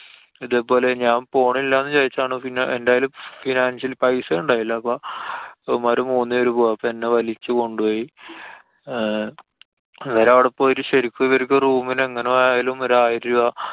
ഇതേപോലെ ഞാന്‍ പോണില്ലാന്നു വിചാരിച്ചതാണ്. പിന്നെ എന്തായാലും financial പൈസ ഇണ്ടായില്ല. അപ്പൊ ഇവന്മാര് മൂന്നു പേരു പോയപ്പോ എന്നെ വലിച്ചു കൊണ്ടോയി. അഹ് ഇവരവടെ പോയിട്ട് ഇവര്ക്ക് ശരിക്ക് ഇവര്ക്ക് room ന് എങ്ങനെ പോയാലും ഒരു ആയിരം രൂപ